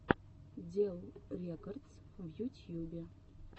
дел рекордс в ютьюбе